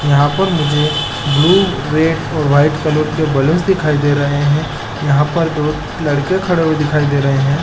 यहाँ पर मुझे ब्लू रेड और वाइट कलर के बैलूनस दिखाई दे रहे है यहाँ पर दो लड़के खड़े हुए दिखाई दे रहे हैं ।